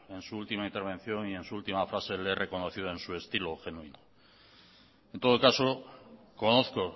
en su última intervención y en su última frase le he reconocido en su estilo genuino en todo caso conozco